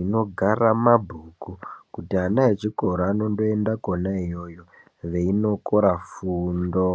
inogara mabhuku kuti ana echikora anoenda Kona iyoyo veinokora fundo.